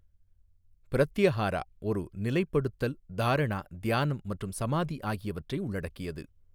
பிரத்தியஹாரா ஒரு நிலைப்படுத்தல் தாரணா தியானம் மற்றும் சமாதி ஆகியவற்றை உள்ளடக்கியது.